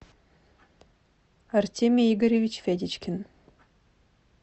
артемий игоревич федечкин